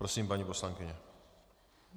Prosím, paní poslankyně.